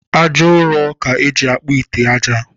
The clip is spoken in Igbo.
Aja ụrọ ka eji akpụ ite aja